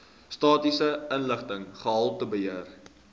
statistiese inligting gehaltebeheer